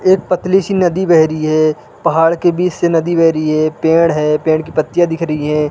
एक पतली सी नदी बह रही है पहाड़ के बीच से नदी बह रही है पेड़ हैं पेड़ की पत्तियाँ दिख रही हैं।